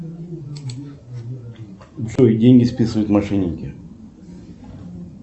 джой деньги списывают мошенники